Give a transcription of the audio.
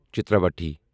Chitravathi